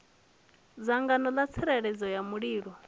dzangano ḽa tsireledzo ya mulilo